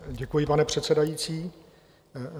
Děkuji, pane předsedající.